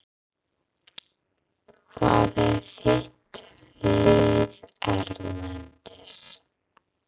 Hvað er þitt lið erlendis?